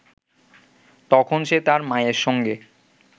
তখন সে তার মায়ের সঙ্গে